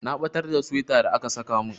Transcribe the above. Na batar da suwaita da aka saka min.